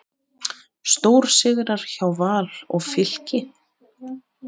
Stórsigrar hjá Val og Fylki